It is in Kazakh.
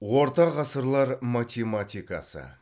орта ғасырлар математикасы